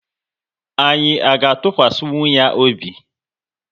Anyị à ga atukwasinwu ya obi?